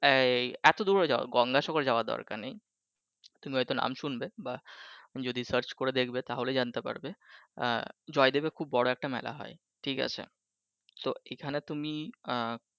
এই এতো দূরে যাওয়ার গংঙ্গা সাগরে যাওয়ার দরকার নেই । তুমি হয়ত নাম শুনবে বা যদি search করে দেখবে তাহলেই জানতে পারবে জয়দেবে খুব বড় একটা মেলা হয় ঠিক আছে। so এইখানে তুমি আহ